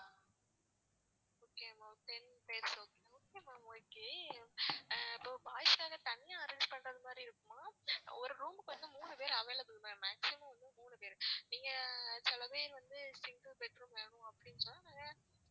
okay ma'am ஆஹ் இப்போ boys வேற தனியா arrange பண்ற மாதிரி இருக்குமா? ஒரு room க்கு வந்து மூணு பேரு available ma'am actual லா வந்து மூணு பேரு நீங்க சில பேர் வந்து single bed room வேணும் அப்டின்னு சொன்னாக்கூட,